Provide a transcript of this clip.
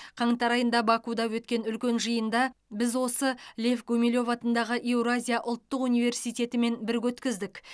қаңтар айында бакуде өткен үлкен жиында біз осы лев гумилев атындағы еуразия ұлттық университетімен бірге өткіздік